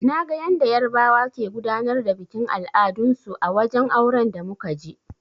Naga yanda yarbawa ke gudanar da bikin al'adun su a wajen auren da muka je.